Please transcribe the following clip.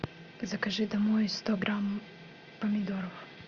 закажи домой сто грамм помидоров